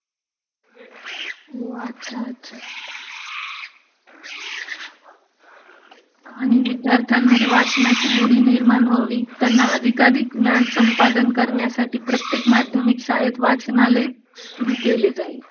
ओ...अच्छा ...अच्छा ..............................आणि विद्यार्थ्यांमध्ये वाचनाची गोडी निर्माण व्हावी, त्यांना अधिकाअधिक ज्ञान संपादन करण्यासाठी प्रत्येक माध्यमिक शाळेत वाचनालय सुरू केले जाईल.